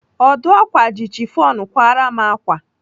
Ọdụ ákwà ji chifọn kwara m ákwà.